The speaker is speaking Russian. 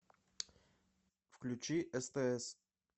включи стс